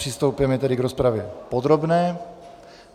Přistoupíme tedy k rozpravě podrobné.